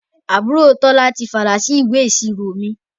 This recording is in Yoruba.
Àbúrò Tola ti falà sí ìwé ìṣirò mi